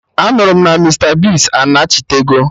Anụrụ m na Mista Bigz anachitego